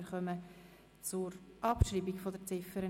Wir kommen zur Abschreibung der Ziffer